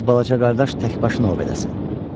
Qoy balaca qardaş tək başına ov eləsin.